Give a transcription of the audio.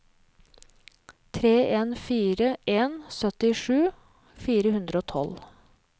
tre en fire en syttisju fire hundre og tolv